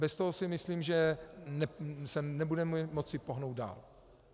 Bez toho si myslím, že se nebudeme moci pohnout dál.